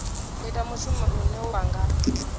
ita mushumo une wa nga